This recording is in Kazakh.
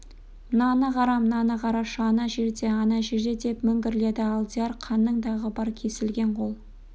мынаны қара мынаны қарашы ана жерде ана жерде деп міңгірледі алдияр қанның дағы бар кесілген қол